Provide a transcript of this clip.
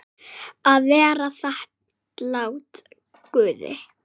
Að vera þakklát Guði.